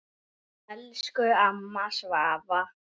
Elsku amma Svava.